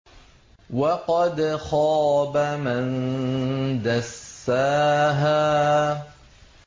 وَقَدْ خَابَ مَن دَسَّاهَا